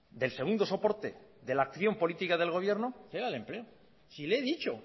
del segundo soporte de la acción política del gobierno era el empleo si le he dicho